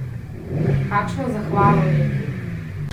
Kakšno zahvalo neki!